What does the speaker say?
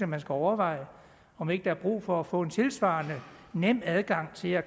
man skulle overveje om ikke der er brug for at få en tilsvarende nem adgang til at